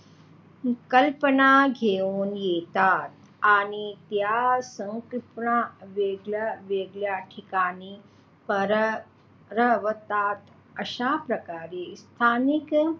संकल्पना घेऊन येतात आणि त्या सांस्कृतिक वेगळ्या वेगळ्या ठिकाणी पसरवतात अश्या प्रकारे स्थानिक,